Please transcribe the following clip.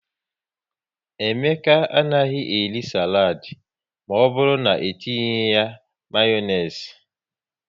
Emeka anaghị eri saladi maọbụru na-, etinye ya Mayonezi